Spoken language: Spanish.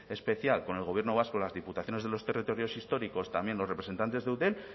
especial con el gobierno vasco las diputaciones de los territorios históricos también los representantes de eudel